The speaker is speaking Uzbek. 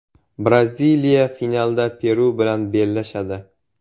Braziliya finalda Peru bilan bellashadi.